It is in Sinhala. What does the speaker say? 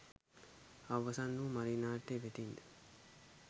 අවසන් වූ ”මලී” නාට්‍ය වෙතින්ද